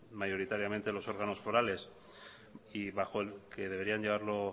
mayoritariamente los órganos forales y bajo el que deberían llevarlo